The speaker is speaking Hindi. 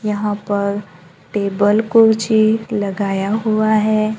यहां पर टेबल कुर्सी लगाया हुआ है।